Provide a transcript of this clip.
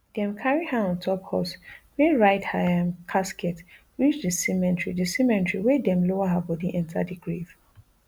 dem carry her ontop horse wey ride her um casket reach di cemetery di cemetery wia dem lower her bodi enta di grave